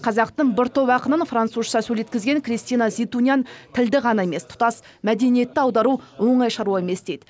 қазақтың бір топ ақынын французша сөйлеткізген кристина зейтунян тілді ғана емес тұтас мәдениетті аудару оңай шаруа емес дейді